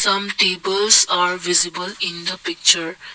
some peoples are visible in the picture.